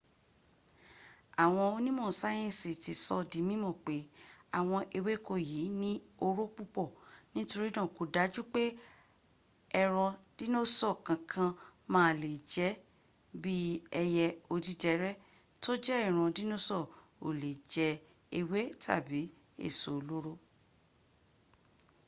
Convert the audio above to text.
àwọn onímọ̀ sáyẹ̀nsì ti sọ̀ ọ di mímọ̀ pé àwọn ewéko yìí ní oró púpọ̀ torína kò dájú pé ẹran dínósọ̀ kankan má a lè jẹ́ bí b ẹyẹ odídẹrẹ́ tó jẹ́ ìran dínósọ̀ ó lè jẹ ewé tàbí èso olóró